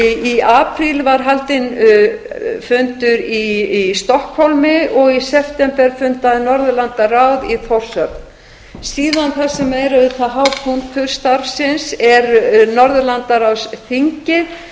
í apríl var haldinn fundur í stokkhólmi og í september fundaði norðurlandaráð í þórshöfn síðan það sem er auðvitað hápunktur starfsins er norðurlandaráðsþingið sem